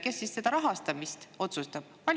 Kes siis rahastamist otsustab?